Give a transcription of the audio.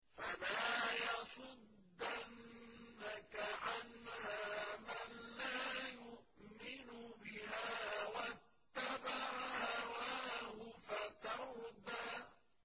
فَلَا يَصُدَّنَّكَ عَنْهَا مَن لَّا يُؤْمِنُ بِهَا وَاتَّبَعَ هَوَاهُ فَتَرْدَىٰ